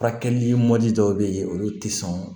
Furakɛli mɔdi dɔw bɛ yen olu tɛ sɔn